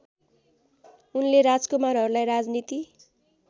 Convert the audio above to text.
उनले राजकुमारहरूलाई राजनीति